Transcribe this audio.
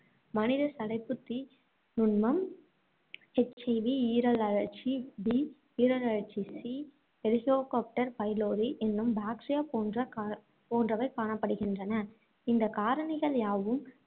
மனித சடைப்புத்துத் தீ நுண்மம், HIV, ஈரல் அழற்சி B ஈரல் அழற்சி C எலிக்கோபேக்டர் பைலோரி என்னும் bacteria போன்ற கா~ போன்றவை காணப்படுகின்றன. இந்தக் காரணிகள் யாவும்